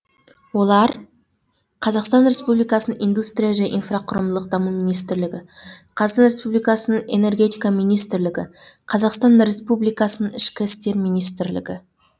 олар қазақстан республикасының индустрия және инфрақұрылымдық даму министрлігі қазақстан республикасының энергетика министрлігі қазақстан республикасының ішкі істер министрлігі